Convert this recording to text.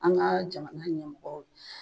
An ka jamana ɲɛmɔgɔ